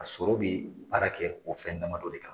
A sɔrɔ bɛ baara kɛ o fɛn dama dɔ de kan.